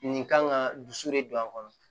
Nin kan ka dusu de don a kɔnɔ